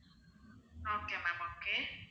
okay ma'am okay